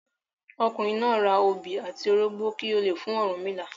Ọkùnrin náà ra obi àti orógbọ kí ó le fún Ọ̀rúnmìlà.